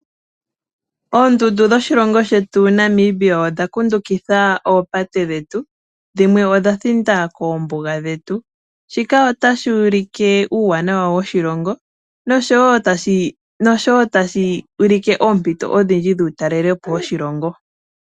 Oondundu dhoshilongo shetu Namibia odha kundukidha oopate dhetu dhimwe odha thinda koombuga dhetu shika ota shi ulike uuwanawa woshilongo noshowo tashi ulike oompito odhindji dhuutalelepo woshilongo.